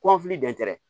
Kɔnfili dɛn